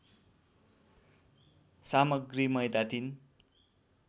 सामग्री मैदा ३